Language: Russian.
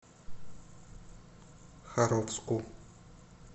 харовску